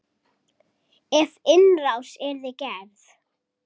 Ef innrás yrði gerð?